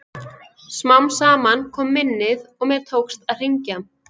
Smám saman kom minnið og mér tókst að hringja.